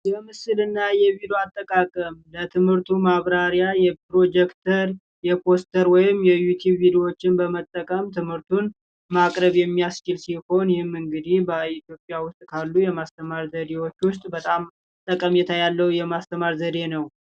የምስልና የቪዲዮ አጠቃቀም ለትምህርቱ ማብራሪያ የፕሮጀክተር፣ የፖስተር ወይም የዩቱብ ቪዲዎችን በመጠቀም ትምህርቱን ማቅረብ የሚያስችል ሲሆን፤ ይህም እንግዲህ በኢትዮጵያ ውስጥ ካሉ የማስተማር ዘዴዎች ውስጥ በጣም ጠቀሜታ ያለው የማስተማር ዘዴ ነው።